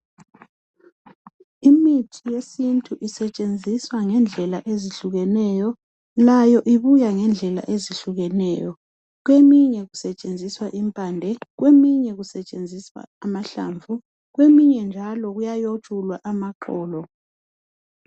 imithi yesintu isetsenziswa ngendlela ezihlukeneyo layo ibuya ngendlela ezikhukeneyo kweminye kusetshenziswa impande kweminye kusetshenziswa amahlamvu kweminye kuyayoxulwa amaxolo